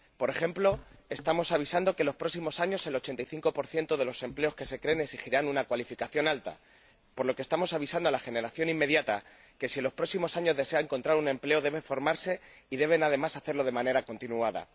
Por ejemplo, estamos avisando que, en los próximos años, el 85 de los empleos que se creen exigirán una cualificación alta, por lo que estamos avisando a la generación inmediata que, si en los próximos años desea encontrar un empleo, debe formarse y debe, además, hacerlo de manera continuada.